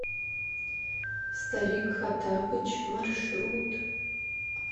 старик хоттабыч маршрут